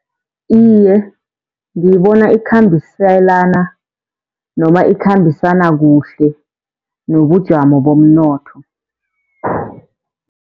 Iye, ngiyibona ikhambiselana noma ikhambisana kuhle nobujamo bomnotho.